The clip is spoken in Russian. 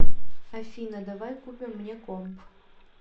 афина давай купим мне комп